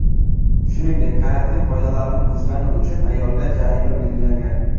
Shuningdek, karantin qoidalarini buzgani uchun ayolga jarimaga belgilangan.